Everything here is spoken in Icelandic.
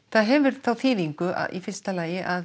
það hefur þá þýðingu í fyrsta lagi að